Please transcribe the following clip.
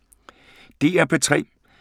DR P3